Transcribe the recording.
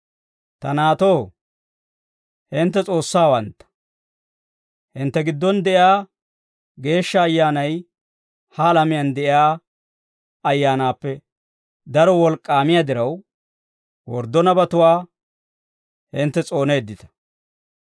Ta naatoo, hintte S'oossawantta; hintte giddon de'iyaa Geeshsha Ayyaanay ha alamiyaan de'iyaa ayyaanaappe daro wolk'k'aamiyaa diraw, worddo nabatuwaa hintte s'ooneeddita.